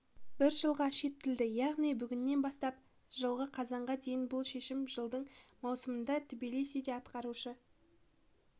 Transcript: бір жылға шеттетілді яғни бүгіннен бастап жылғы қазанға дейін бұл шешім жылдың маусымында тбилисиде атқарушы